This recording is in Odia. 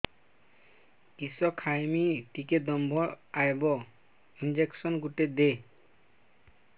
କିସ ଖାଇମି ଟିକେ ଦମ୍ଭ ଆଇବ ଇଞ୍ଜେକସନ ଗୁଟେ ଦେ